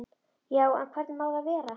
Já, en hvernig má það vera?